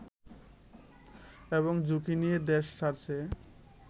এবং ঝুঁকি নিয়ে দেশ ছাড়ছে